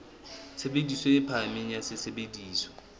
tshebediso e phahameng ya sesebediswa